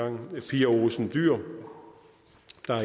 pia olsen dyhr